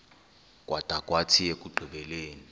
kwada kwathi ekugqibeleni